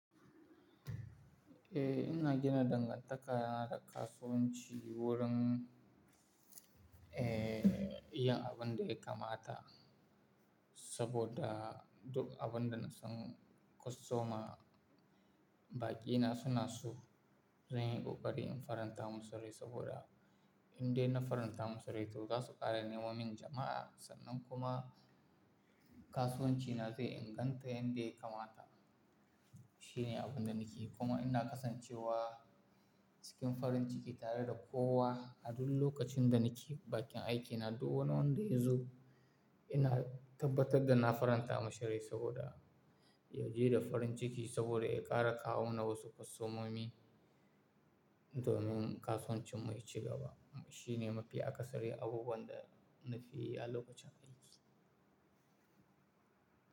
Eh, ina gina dangantaka da kasuwanci wurin, eh, yin abin da ya kamata saboda duk abin da na san kwastoma baƙina suna so zan yi ƙoƙari in faranta musu rai saboda indai na faranta musu rai, to za su ƙara neman min jama'a sannan kuma kasuwancina zai inganta yanda ya kamata. Shi ne abin da nake yi, kuma ina kasancewa cikin farin ciki tare da kowa a duk lokacin da nake bakin aikina duk wani wanda ya zo ina tabbatar da na faranta mashi rai saboda ya je da farin ciki saboda ya ƙara kawo na wasu kwastomomi domin kasuwancin mu ya ci gaba. Shi ne mafi akasari abubuwan da na fi yi a lokacin aiki.